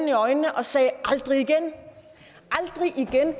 i øjnene og sagde aldrig igen aldrig igen